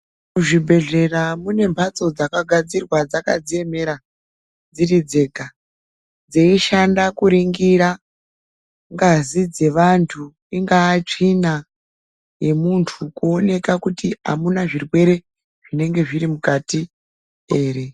Zvibhedhlera mune mhatso dzakagadzirwa dzkadziemera dziri dzega dzeishanda kuningira ngazi dzevantu ingaa tsvina yemuntu kuoneka kuti amuna zvirwere zvinenge zviri mukati ere.